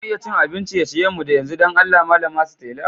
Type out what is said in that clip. Za mu iya cin abin ciye-ciyen mu yanzu, dan Allah malama Stella?